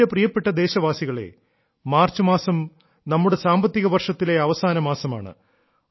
എന്റെ പ്രിയപ്പെട്ട ദേശവാസികളേ മാർച്ച് മാസം നമ്മുടെ സാമ്പത്തിക വർഷത്തിലെ അവസാന മാസമാണ്